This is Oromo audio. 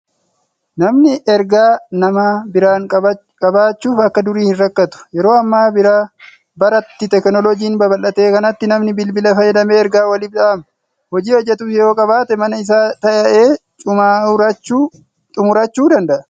Namni ergaa nama biraan qabachuuf akka durii hin rakkaatu. Yeroo amma bara itti teeknoloojiin babal'ate kanatti namni bilbila fayyadamee ergaa waliif dhaama. Hojii hojjetus yoo qabaate mana isaa taa'ee cumaurachuu danda'a.